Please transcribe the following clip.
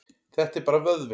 Þetta er bara vöðvinn.